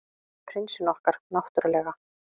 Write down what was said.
Prinsinn okkar, náttúrlega.